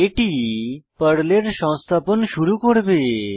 এটি পর্লের সংস্থাপন শুরু করবে